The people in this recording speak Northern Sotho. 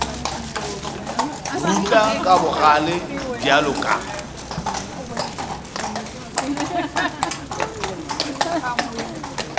rutla ka bogale bjalo ka